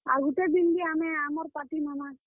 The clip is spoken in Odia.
ଆଉ ଗୁଟେ ଦିନ୍ ବି ଆମେ ଆମର୍ party ନେମା।